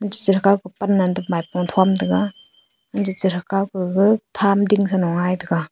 chere kaw ko panan maipo thom taiga anchere kaw kaga tham ding sano gai taiga.